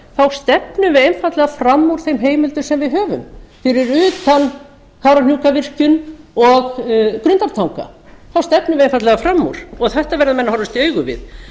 þá stefnum við einfaldlega fram úr þeim heimildum sem við höfum fyrir utan kárahnjúkavirkjun og grundartanga þá stefnum við einfaldlega fram úr þetta verða menn horfast í augu við